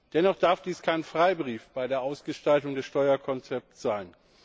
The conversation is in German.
Dennoch darf dies kein Freibrief bei der Ausgestaltung des Steuerkonzepts sein.